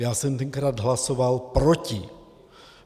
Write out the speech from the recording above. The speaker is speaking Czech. Já jsem tenkrát hlasoval proti.